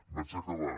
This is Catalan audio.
vaig acabant